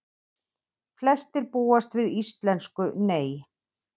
Flestir búast við íslensku Nei